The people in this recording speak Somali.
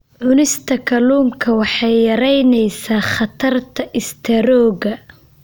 Cunista kalluunka waxay yaraynaysaa khatarta istaroogga.